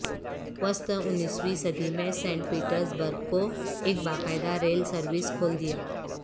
وسط انیسویں صدی میں سینٹ پیٹرز برگ کو ایک باقاعدہ ریل سروس کھول دیا